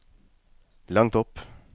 langt opp